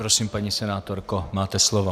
Prosím, paní senátorko, máte slovo.